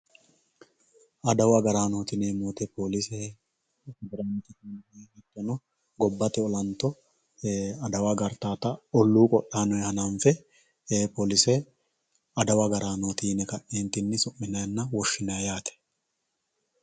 Adawu agaranoti yinemoti polise gobate olanto adawa agaritata olluu qodhanonni ha'nanfe polise adawa agaranoti yine su'minayi woshinayi yaate